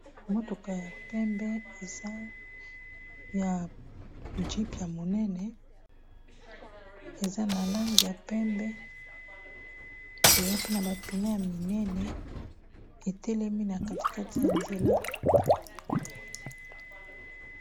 Motuka ya pembe eza ya jeep ya monene eza na langi ya pembe eza mpe na ba pneu ya minene etelemi na kati kati ya nzela.